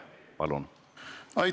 Palun!